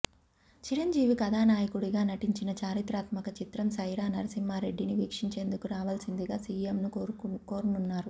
చిరంజీవి కథానాయకుడిగా నటించిన చారిత్రాత్మక చిత్రం సైరా నరసింహారెడ్డిని వీక్షించేందుకు రావాల్సిందిగా సీఎంను కోరనున్నారు